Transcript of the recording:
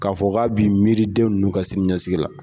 K'a fɔ k'a b'i miiriden nunnu ka sini ɲɛsigi la.